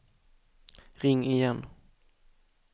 ring igen